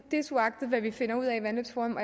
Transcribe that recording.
desuagtet hvad vi finder ud af i vandløbsforum